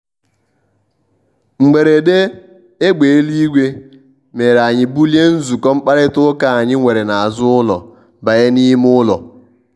mgberede égbé éluigwe mere anyị bulie nzukọ mkpakarita ụka anyị were n' azụ ụlọ banye n' ime ụlo.